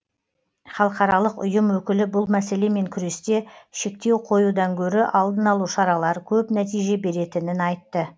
халықаралық ұйым өкілі бұл мәселемен күресте шектеу қоюдан гөрі алдын алу шаралары көп нәтиже беретінін айтты